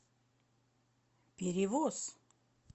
перевоз